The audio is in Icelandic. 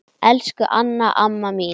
Elsku Anna amma mín.